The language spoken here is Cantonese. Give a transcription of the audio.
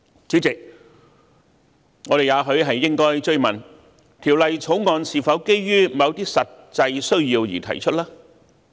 主席，我們也許應追問，《條例草案》是否基於某些實際需要而提出？